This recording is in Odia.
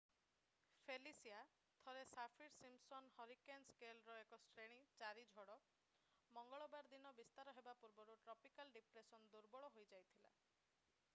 ଫେଲିସିଆ ଥରେ ସାଫିର-ସିମ୍ପସନ୍ ହରିକେନ ସ୍କେଲରେ ଏକ ଶ୍ରେଣୀ 4 ଝଡ ମଙ୍ଗଳବାର ଦିନ ବିସ୍ତାର ହେବା ପୂର୍ବରୁ ଟ୍ରପିକାଲ୍ ଡିପ୍ରେସନରେ ଦୁର୍ବଳ ହୋଇଯାଇଥିଲା